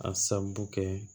A sababu kɛ